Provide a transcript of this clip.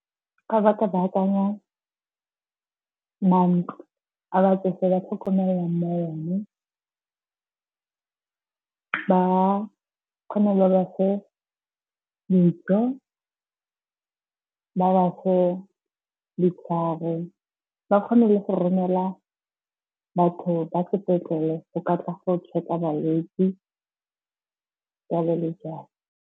Fa ba ka baakanya mantlo a batsofe ba tlhokomelelwang mo one. Ba kgone le go ba fa dijo, ba ba fe ditlhare, ba kgone le go romela batho ba sepetlele go ka tla go check-a balwetse jalo le jalo.